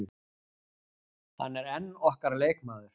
Hann er enn okkar leikmaður.